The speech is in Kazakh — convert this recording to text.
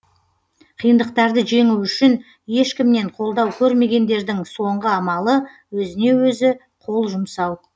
қиындықтарды жеңу үшін ешкімнен қолдау көрмегендердің соңғы амалы өзіне өзі қол жұмсау